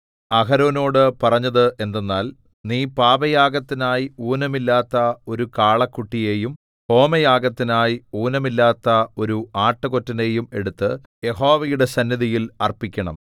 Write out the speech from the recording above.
അഹരോനോടു പറഞ്ഞതെന്തെന്നാൽ നീ പാപയാഗത്തിനായി ഊനമില്ലാത്ത ഒരു കാളക്കുട്ടിയെയും ഹോമയാഗത്തിനായി ഊനമില്ലാത്ത ഒരു ആട്ടുകൊറ്റനെയും എടുത്ത് യഹോവയുടെ സന്നിധിയിൽ അർപ്പിക്കണം